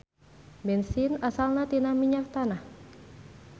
Bensin asalna tina minyak tanah.